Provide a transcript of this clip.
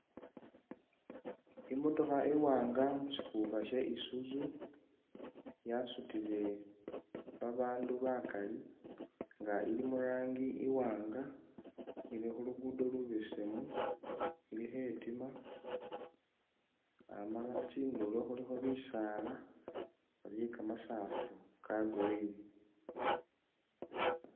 I'motokha i'wanga musikuka sha Isuzu yasutile babaandu bakaali nga ili murangi i'wanga ili khulugudo lubesemu ili khetima Amala tsindulo khulikho bisaala ni kamasafu ka'green